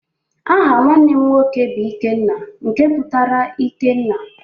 Aha nwanne m nwoke bụ Ikenna nke pụtara ike nna.